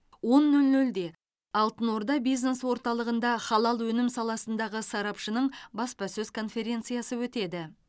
он нөл нөлде алтын орда бизнес орталығынжа халал өнім саласындағы сарапшының баспасөз конференциясы өтеді